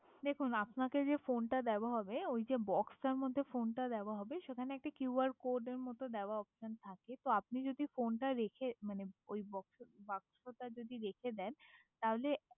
দেখুন আপনাকে যে ফোনটা দেওয়া হবে ওই যে বক্সটার মধ্যে ফোনটা দেওয়া হবে সেখানে একটা কিউয়ার কোডের মতন অপশন দেওয়া থাকে, আপনি যদি ফোনটা রেখে মানে ওই বাক্সটা যদি রেখে দেন তাহলে